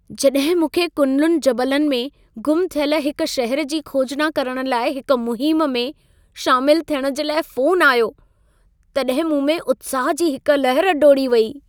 जॾहिं मूंखे कुनलुन जबलनि में ग़ुम थियल हिक शहर जी खोजना करण लाइ हिक मुहिम में शामिल थियण जे लाइ फ़ोनु आयो, तॾहिं मूं में उत्साह जी हिक लहर डोड़ी वेई।